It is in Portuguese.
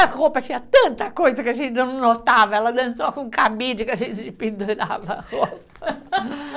A roupa tinha tanta coisa que a gente não notava, ela dançou com o cabide que a gente pendurava a roupa.